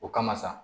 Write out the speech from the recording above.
O kama sa